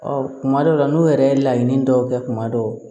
Ɔ kuma dɔw la n'u yɛrɛ ye laɲini dɔw kɛ kuma dɔw